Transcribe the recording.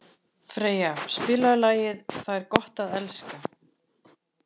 Freyja, spilaðu lagið „Það er gott að elska“.